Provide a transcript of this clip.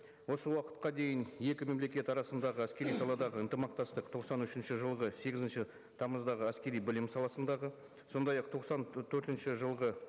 осы уақытқа дейін екі мемлекет арасындағы әскери саладағы ынтымақтастық тоқсан үшінші жылғы сегізінші тамыздағы әскери білім саласындағы сондай ақ тоқсан төртінші жылғы